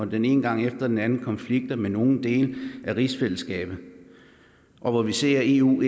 den ene gang efter den anden konflikter med nogle dele af rigsfællesskabet og hvor vi ser at eu